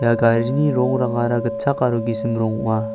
ia garini rongrangara gitchak aro gisim rong ong·a.